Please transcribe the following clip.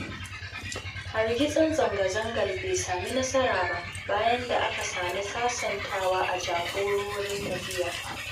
Hargitsin zanga-zangar bai sami nasara ba, bayan da aka sami sasantawa da jagororin tafiyar.